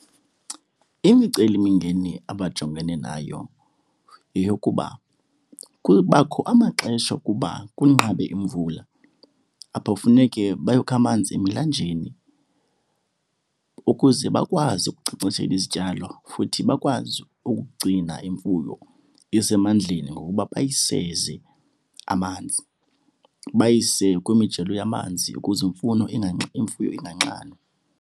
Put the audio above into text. Imicelimingeni abajongene nayo yeyokuba kubakho amaxesha wokuba kunqabe imvula. Apho funeke bayokha amanzi emilanjeni ukuze bakwazi ukunkcenkceshela izityalo futhi bakwazi ukugcina imfuyo isemandleni ngokuba bayiseze amanzi, bayise kwimijelo yamanzi ukuze imfuno imfuyo inganxanwa.